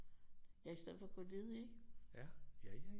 Ja i stedet for at gå ledige